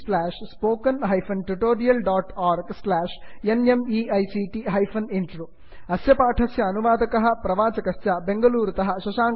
spoken hyphen tutorial dot org slash NMEICT hyphen intro अस्य पाठस्य अनुवादकः प्रवाचकश्च बेंगलूरुतः शशांकः